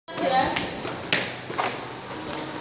No more tokens. Restart app with internet connection for more.